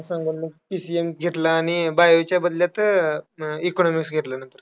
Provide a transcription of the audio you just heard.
त्यांना सांगून मग PCM घेतलं आणि bio च्या बदल्यात economics घेतलं नंतर.